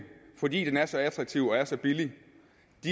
fordi den er så attraktiv og er så billig